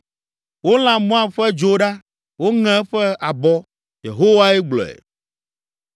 Wolã Moab ƒe dzo ɖa, woŋe eƒe abɔ.” Yehowae gblɔe.